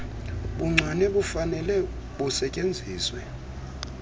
buncwane bufanele busetyenziswe